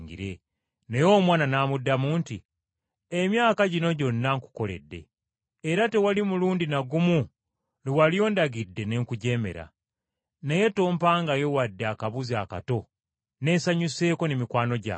naye omwana n’amuddamu nti, ‘Emyaka gino gyonna nkukoledde, era tewali mulundi na gumu Lwe wali ondagidde ne nkujeemera. Naye tompangayo wadde akabuzi akato neesanyuseeko ne mikwano gyange.